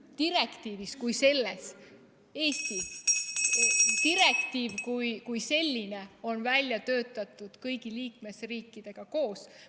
Direktiiv kui selline on välja töötatud kõigi liikmesriikidega koos.